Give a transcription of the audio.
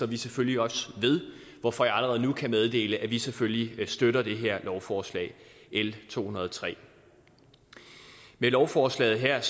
vi selvfølgelig også står ved hvorfor jeg allerede nu kan meddele at vi selvfølgelig støtter det her lovforslag l to hundrede og tre med lovforslaget her